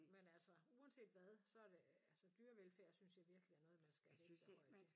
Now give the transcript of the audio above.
Men altså uanset hvad så det altså dyrevelfærd synes jeg virkelig er noget man skal vægte højt